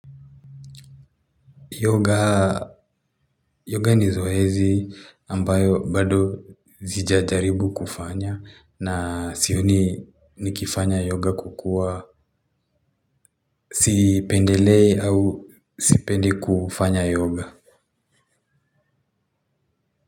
Yoga ni zoezi ambayo bado zijajaribu kufanya na sioni nikifanya yoga kwa kuwa sipendelei au sipendi kufanya yoga.